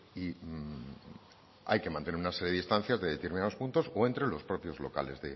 y hay que mantener una serie de distancias de determinados puntos o entre los propios locales